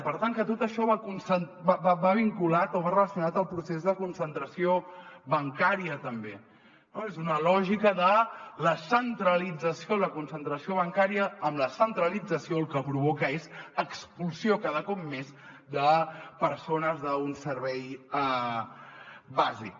per tant que tot això va vinculat o va relacionat al procés de concentració bancària també no és una lògica de la centralització la concentració bancària amb la centralització el que provoca és expulsió cada cop més de persones d’un servei bàsic